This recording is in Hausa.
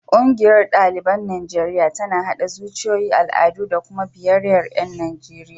Ƙungiyar ɗaliban Najeriya tana haɗa zuciyoyi, al'adu da kuma biyayyar ƴan Najeriya.